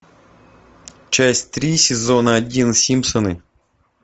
часть три сезона один симпсоны